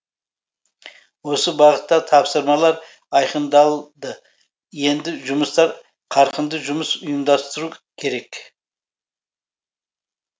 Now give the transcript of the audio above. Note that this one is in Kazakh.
осы бағытта тапсырмалар айқындалды енді жұмыстар қарқынды жұмыс ұйымдастыру керек